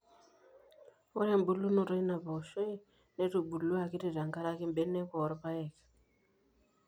Ore embulunoto eina pooshoi netubulua akiti tenkaraki mbenek oo irpaek.